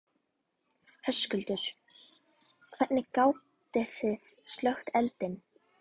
Höskuldur: Hvernig gátið þið slökkt eldinn?